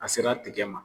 A sera tigɛ ma